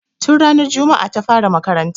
Tun ranar juma'a ta fara makaranta